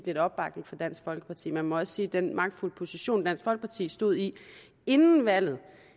lidt opbakning fra dansk folkeparti man må også sige at den magtfulde position som dansk folkeparti stod i inden valget